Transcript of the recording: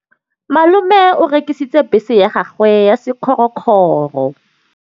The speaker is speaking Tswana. Malome o rekisitse bese ya gagwe ya sekgorokgoro.